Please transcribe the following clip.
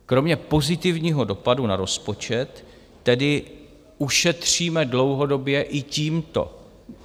Kromě pozitivního dopadu na rozpočet tedy ušetříme dlouhodobě i tímto.